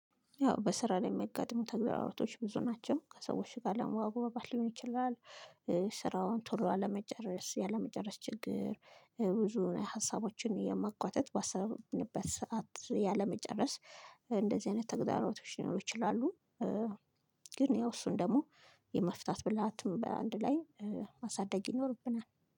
ያው በስራ ላይ የሚያገጥሙት ተግዳሮቶች ብዙ ናቸው ከሰዎች ጋር ለመግባባት ሊሆን ይችላል። ስራውን ቶሎ አለመጨረስ ያለመጨረስ ችግር ብዙ ሀሳቦችን የማጓተት ባሰብንበት ሰዓት ያለመጨረስ። እንደዚህ አይነት ተግዳሮቶች ሊኖሩ ይችላሉ። ግን ያው እሱን ደግሞ የመፍታት ብልሃትም በአንድ ላይ ማሳደግ ይኖርብናል